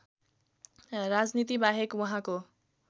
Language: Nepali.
राजनीतिबाहेक उहाँको